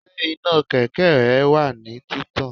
Ṣé iná kẹ̀kẹ́ rẹ wà ní títàn?